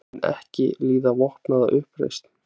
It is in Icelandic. Mun ekki líða vopnaða uppreisn